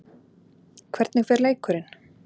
Hvernig fer leikurinn?